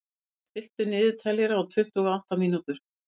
Mathías, stilltu niðurteljara á tuttugu og átta mínútur.